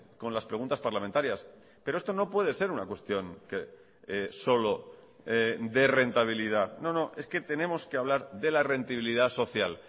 con las preguntas parlamentarias pero esto no puede ser una cuestión que solo dé rentabilidad no no es que tenemos que hablar de la rentabilidad social